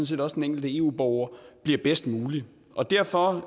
set også den enkelte eu borger bliver bedst mulig derfor